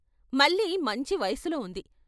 మల్లి మంచి వయసులో ఉంది.